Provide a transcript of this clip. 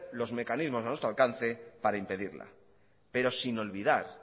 los mecanismos a nuestro alcance para impedirla pero sin olvidar